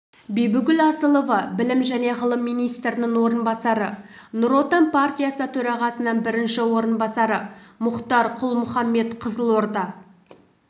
бибігүл асылова білім және ғылым министрінің орынбасары нұр отан партиясы төрағасының бірінші орынбасары мұхтар құл-мұхаммед қызылорда